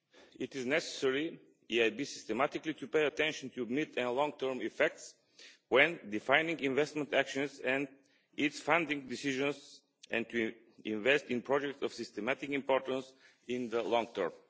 It is necessary for the EIB to systematically pay attention to mid— and long-term effects when defining investment actions and its funding decisions and to investing in projects of systematic importance in the long term.